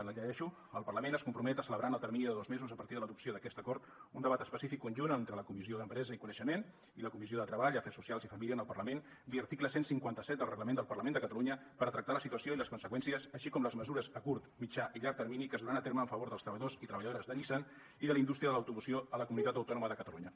la llegeixo el parlament es compromet a celebrar en el termini de dos mesos a partir de l’adopció d’aquest acord un debat específic conjunt entre la comissió d’empresa i coneixement i la comissió de treball afers socials i famílies en el parlament via article cent i cinquanta set del reglament del parlament de catalunya per a tractar la situació i les conseqüències així com les mesures a curt mitjà i llarg termini que es duran a terme a favor dels treballadors i treballadores de nissan i de la indústria de l’automoció a la comunitat autònoma de catalunya